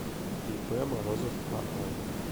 ип морозов аа